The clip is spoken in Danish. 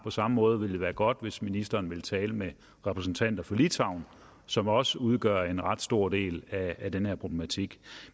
samme måde ville det være godt hvis ministeren ville tale med repræsentanter for litauen som også udgør en ret stor del af den her problematik